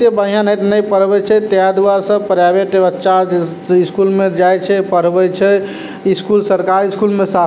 एते बढ़िया नै नै पढ़वे छै तेय द्वारा सब प्राइवेट बच्चा स्कूल में जाय छै पढ़वे छै स्कूल सरकारी स्कूल में सा--